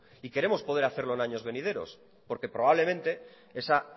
y queremos poder hacerlo en años venideros porque probablemente esa